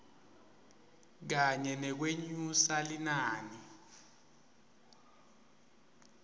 kanye nekwenyusa linani